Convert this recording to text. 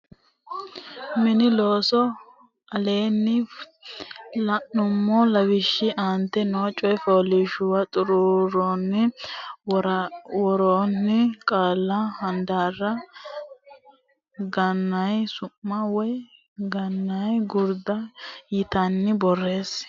Mini Looso Aleenni la nummo lawishshi aante noo coy fooliishshuwara xuruura worroonni qaalla handaarra ganyi su ma woy ganyi gurda yitinanni borreesse.